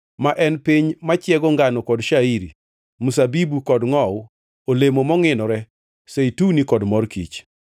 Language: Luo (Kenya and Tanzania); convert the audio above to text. ma en piny machiego ngano kod shairi, mzabibu kod ngʼowu, olemo mongʼinore, zeituni kod mor kich.